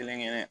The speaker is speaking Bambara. Kelen kelen